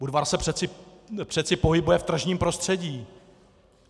Budvar se přeci pohybuje v tržním prostředí.